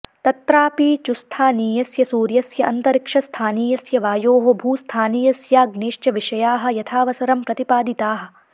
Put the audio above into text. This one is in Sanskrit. तत्रापि चुस्थानीयस्य सूर्यस्य अन्तरिक्षस्थानीयस्य वायोः भूस्थानीयस्याग्नेश्च विषयाः यथावसरं प्रतिपादिताः